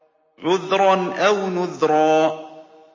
عُذْرًا أَوْ نُذْرًا